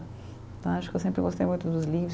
Acho que eu sempre gostei muito dos